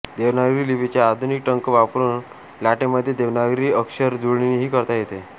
देवनागरी लिपीचे आधुनिक टंक वापरून लाटेक्मध्ये देवनागरी अक्षरजुळणीही करता येते